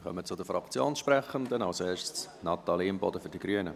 Wir kommen zu den Fraktionssprechenden, als Erste Natalie Imboden für die Grünen.